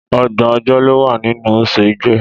Ọgbọ̀n ọjọ́ ló wà nínú oṣù Igbe.